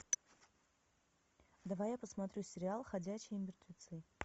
давай я посмотрю сериал ходячие мертвецы